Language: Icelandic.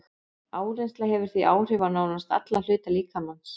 Áreynsla hefur því áhrif á nánast alla hluta líkamans.